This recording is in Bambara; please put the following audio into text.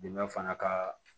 Dɛmɛ fana ka